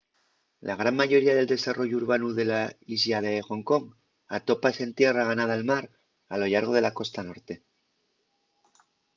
la gran mayoría del desarrollu urbanu de la islla de ḥong kong atópase en tierra ganada al mar a lo llargo de la costa norte